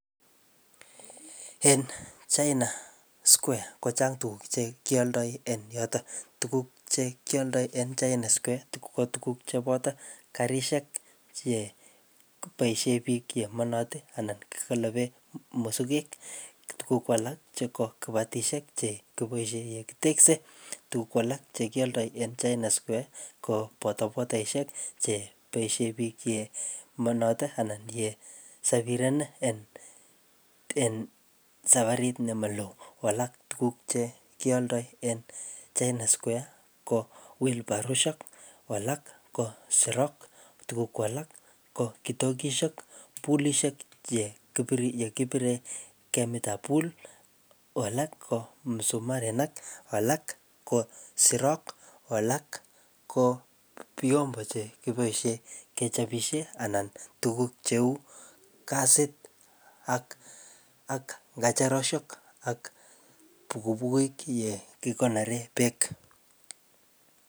En China square kochang' tuguk che kialdoi en yotok. Tuguk che kialdoi en China Square tuguk ko tuguk che boto karishek che boisie biik che manatin anan kikolope musukek. Ko tuguk ko alak che ko kibatishek che kiboisie ye kiteksee. Tuguk alak che kialdoi en China Square ko bodabodaishek che boisie biik che manat anan ye sapiren en-en safarit nema loo. Ko alak tuguk che lialdoi en China Square ko wheelbaroshek, ko alak ko serok, tuguk ko alak ko kitokishek, poolishek che kipire, ye kipire kemit ap pool, ko alak ko msumarinik, ko alak ko sirok, ko alak ko vyombo che kibosie kechapishe anan tuguk cheu kasit ak-ak ngecheroshek ak bukubukiuk ye kikonore beek